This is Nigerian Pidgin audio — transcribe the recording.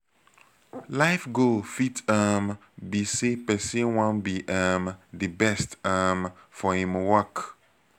life goal fit um be sey person wan be um di best um for im work